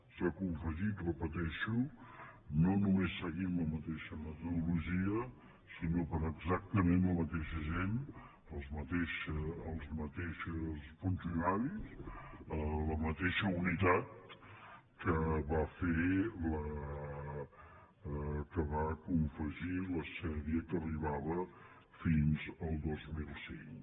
s’ha confegit ho repeteixo no només seguint la mateixa metodologia sinó per exactament la mateixa gent els mateixos funcionaris la mateixa unitat amb què es va confegir la sèrie que arribava fins al dos mil cinc